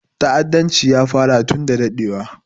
Ta'addanci ya fara tun da daɗewa